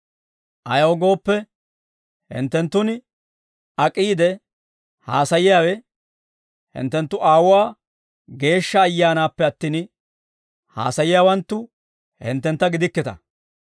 Ayaw gooppe, hinttenttun ak'iide haasayiyaawe hinttenttu Aawuwaa Geeshsha Ayyaanaappe attin, haasayiyaawanttu hinttentta gidikkita.